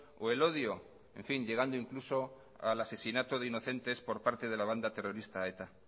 o el odio en fin llegando incluso al asesinato de inocentes por parte de la banda terrorista eta